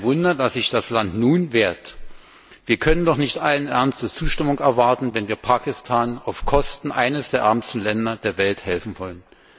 Kein Wunder, dass sich das Land nun wehrt. Wir können doch nicht allen Ernstes Zustimmung erwarten, wenn wir Pakistan auf Kosten eines der ärmsten Länder der Welt helfen wollen.